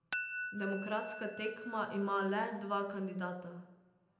Demokratska tekma ima le dva kandidata.